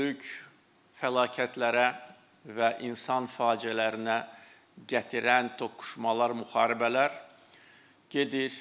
Böyük fəlakətlərə və insan faciələrinə gətirən toqquşmalar, müharibələr gedir.